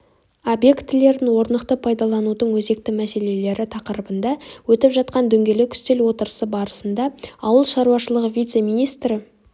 объектілерін орнықты пайдаланудың өзекті мәселелері тақырыбында өтіп жатқан дөңгелек үстел отырысы барысында ауыл шаруашылығы вице-министрі